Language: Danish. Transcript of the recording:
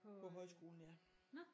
På øh nå!